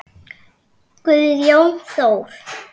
Guðjón Þór.